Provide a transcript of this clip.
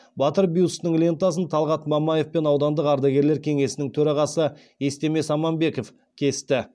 батыр бюстінің лентасын талғат мамаев пен аудандық ардагерлер кеңесінің төрағасы естемес аманбеков кесті